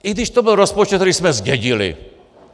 I když to byl rozpočet, který jsme zdědili.